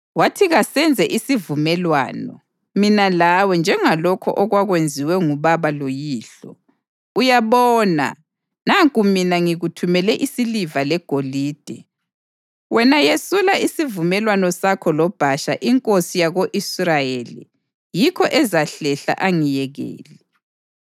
Wathi, “Kasenze isivumelwano mina lawe njengalokho okwakwenziwe ngubaba loyihlo. Uyabona, nanku mina ngikuthumele isiliva legolide. Wena yesula isivumelwano sakho loBhasha inkosi yako-Israyeli yikho ezahlehla angiyekele.”